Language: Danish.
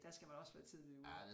Der skal man også være tidligt ude